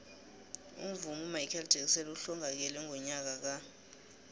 umvumi umichael jackson uhlongakele ngonyaka ka